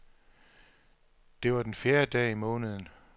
Det var den fjerde dag i måneden.